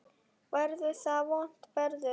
Verður þá vont veður?